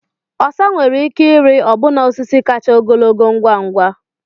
Osa nwere ike ịrị ọbụna osisi kacha ogologo ngwa ngwa.